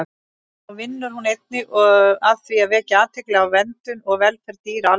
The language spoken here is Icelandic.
Þá vinnur hún einnig að því að vekja athygli á verndun og velferð dýra almennt.